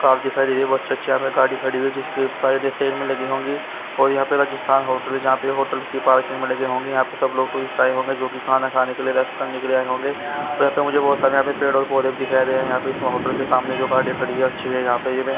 car दिखाई दे रही है मस्त अच्छी अच्छी गाड़ी खड़ी हुई है जिसके साइड सीर में लगी होगी और यहाँ पर राजस्थान होटल है जहा पर होटल की पार्किंग है मतलब यहाँ पर सब लोग टूरिस्ट आए होंगे जो की खाना खाने के लिए रेस्ट करने के लिए होंगे फिर तो मुझे बहोत सारे यहाँ पर पेड़ और पौधे भी दिखाई दे रहे है यहाँ पर इस होटल के सामने जो गाड़ी खड़ी है अच्छी है यहाँ पर इन में --